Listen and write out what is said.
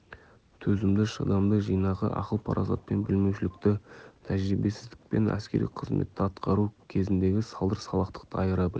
төзімді шыдамды жинақы ақыл-парасатпен білмеушілікті тәжірибесіздік пен әскери қызметті атқару кезіндегі салдыр-салақтықты айыра біл